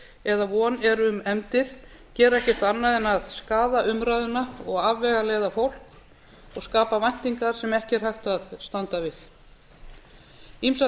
eða von er um efndir gera ekkert annað en skaða umræðuna og afvegaleiða fólk og skapa væntingar sem ekki er hægt að standa við ýmsar